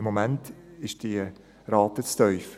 Im Moment ist die Rate zu tief.